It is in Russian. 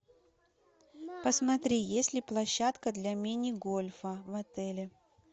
посмотри есть ли площадка для мини гольфа в отеле